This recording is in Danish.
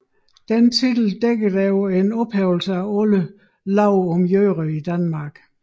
Denne titel dækkede over en ophævelse af alle love om jøder i Danmark